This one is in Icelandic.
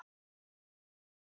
Þú ert.